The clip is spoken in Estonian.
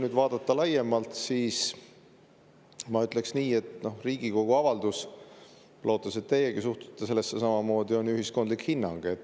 Kui vaadata laiemalt, siis ma ütleks nii – lootes, et teiegi suhtute sellesse samamoodi –, et Riigikogu avaldus on ju ühiskondlik hinnang.